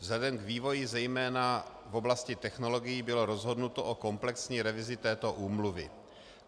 Vzhledem k vývoji zejména v oblasti technologií bylo rozhodnuto o komplexní revizi této úmluvy.